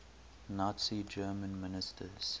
nazi germany ministers